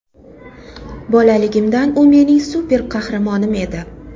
Bolaligimdan u mening super qahramonim edi.